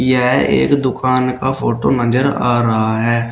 यह एक दुकान का फोटो नजर आ रहा है।